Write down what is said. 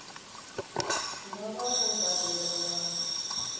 nga vha vho badela nga